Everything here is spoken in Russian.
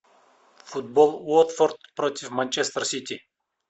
футбол уотфорд против манчестер сити